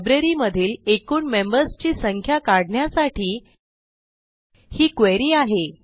लायब्ररीमधील एकूण मेंबर्स ची संख्या काढण्यासाठी ही क्वेरी आहे